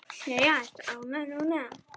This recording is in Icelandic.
Jæja, ertu ánægð núna?